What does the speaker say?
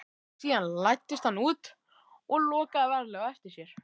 Síðan læddist hann út og lokaði varlega á eftir sér.